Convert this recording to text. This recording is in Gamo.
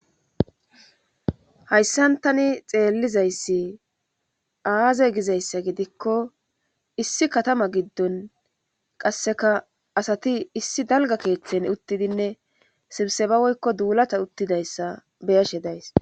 Hayssantani xeellizayssi aaze gizayssa gidikko issi katama giddon qasseka asati issi dalga keeththen uttidinne sibseba woykko duulata uttidayssa beyashe days